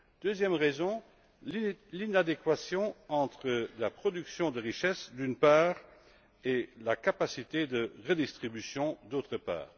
Deuxième raison, l'inadéquation entre la production de richesses, d'une part, et la capacité de redistribution, d'autre part.